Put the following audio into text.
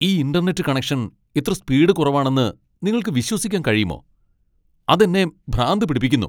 ഈ internet connection ഇത്ര speed കുറവാണെന്ന് നിങ്ങൾക്ക് വിശ്വസിക്കാൻ കഴിയുമോ? അത് എന്നെ ഭ്രാന്ത് പിടിപ്പിക്കുന്നു !